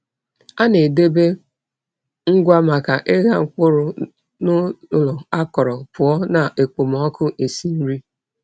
A na-edebe agwa maka ịgha mkpụrụ n’ụlọ akọrọ, pụọ na okpomọkụ esi nri.